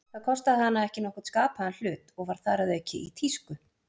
Það kostaði hana ekki nokkurn skapaðan hlut, og var þar að auki í tísku.